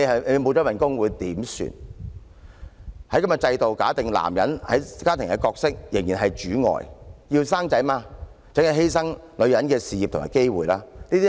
"其實，這種制度便假定了男人在家庭中的角色仍然是"主外"，想生育便要犧牲女人的事業和機會。